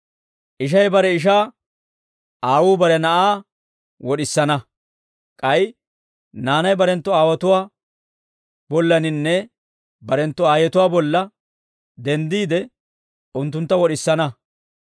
Ishay bare ishaa, aawuu bare na'aa wod'isana; k'ay naanay barenttu aawotuwaa bollaninne barenttu aayetuwaa bolla denddiide, unttuntta wod'isana.